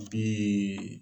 Bi